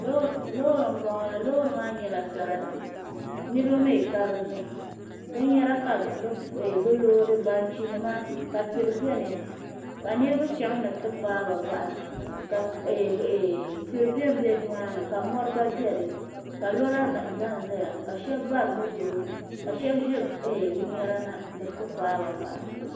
Loori n bɔŋɔ la loori maa mii nyɛla sarati niraba mii ka dinni binyɛra ka bi loodi banchi nima ka churi biɛni ka niraba chɛŋ ni bi ti faaba bahi ka tihi bɛ nimaani ka mɔri gba biɛni ka lora nim ʒɛnʒɛya ka shab bari moto ka shab ʒiri binyɛra na ni bi faaba bahi